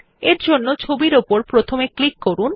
তাহলে ছবিটির উপর প্রথমে ক্লিক করুন